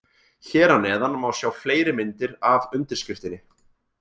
Hér að neðan má sjá fleiri myndir af undirskriftinni.